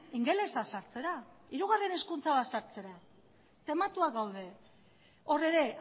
ingelesa sartzera hirugarren hezkuntza bat sartzera tematuak daude hor ere